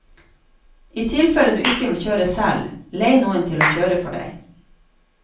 I tilfelle du ikke vil kjøre selv, lei noen til å kjøre for deg.